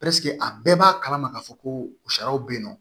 a bɛɛ b'a kalama ka fɔ ko sariyaw be yen nɔ